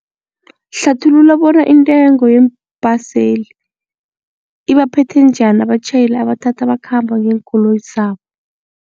Hlathulula bona intengo yeembhaseli ibaphethe njani abatjhayeli abathatha bakhamba ngeenkoloyi zabo.